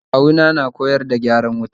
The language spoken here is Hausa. Kawu na na koyar yada zai ma mai gyaran wuta